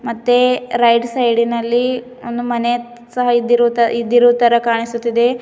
ಮತ್ತೆ right side ಇನಲ್ಲಿ ಒಂದು ಮನೆ ಸಹ ಇದ್ದರೂ ಇದ್ದರೂ ತರ ಕಾಣಿಸುತ್ತಿದೆ.